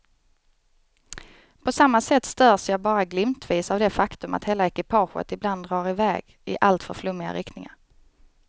På samma sätt störs jag bara glimtvis av det faktum att hela ekipaget ibland drar i väg i alltför flummiga riktningar.